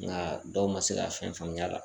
Nga dɔw ma se ka fɛn faamuya la